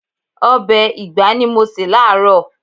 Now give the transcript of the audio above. Ọbẹ̀ ìgbá ni mo se láaaro.